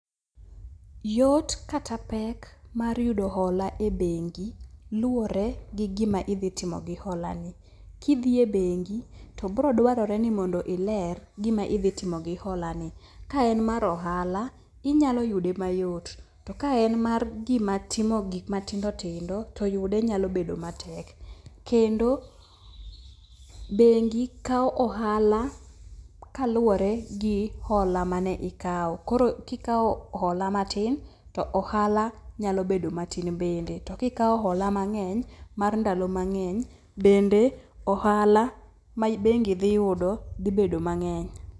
Yot kata pek mar yudo hola e bengi luwore gi gima idhi timo gi hola ni. Kidhi e bengi, to bro dwarore ni mondo iler gima idhi timo gi hola ni. Ka en mar ohala inyalo yude mayot to ka en mar timo gik matindo tindo to yude nyalo bedo matek. Kendo bengi kawo ohala kaluwore gi hola mane ikawo. Koro kikawo hola matin to ohala nyalo bedo matin bende to kikao hola mang'eny mar ndalo mang'eny bende ohala ma bengi dhi yudo dhi bedo mang'eny.